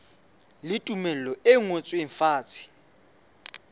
le tumello e ngotsweng fatshe